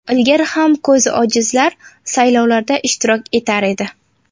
Ilgari ham ko‘zi ojizlar saylovlarda ishtirok etar edi.